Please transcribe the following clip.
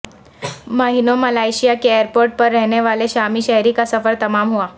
مہینوں ملائیشیا کے ایئرپورٹ پر رہنے والے شامی شہری کا سفر تمام ہوا